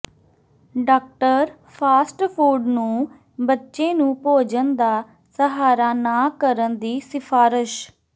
doctor fast food ਨੂੰ ਬੱਚੇ ਨੂੰ ਭੋਜਨ ਦਾ ਸਹਾਰਾ ਨਾ ਕਰਨ ਦੀ ਸਿਫਾਰਸ਼